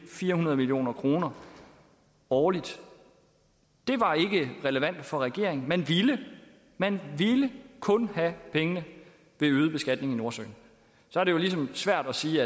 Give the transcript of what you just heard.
fire hundrede million kroner årligt det var ikke relevant for regeringen man ville man ville kun have pengene ved øget beskatning i nordsøen så er det jo ligesom svært at sige